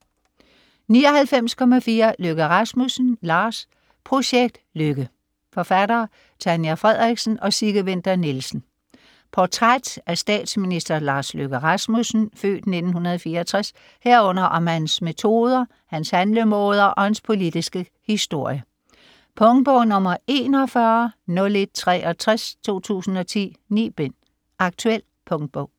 99.4 Løkke Rasmussen, Lars Projekt Løkke Forfattere: Tanja Frederiksen og Sigge Winther Nielsen Portræt af statsminister Lars Løkke Rasmussen (f. 1964), herunder om hans metoder, hans handlemåder og hans politiske historie. Punktbog 410163 2010. 9 bind. Aktuel punktbog